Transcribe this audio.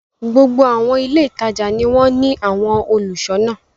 Gbogbo àwọn ilé-ìtajà ni wọ́n ní àwọn olùṣọ́ná.